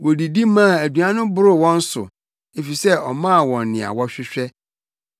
Wodidi maa aduan no boroo wɔn so efisɛ ɔmaa wɔn nea wɔhwehwɛ.